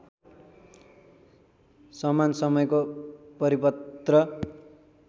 समान समयको परिपत्र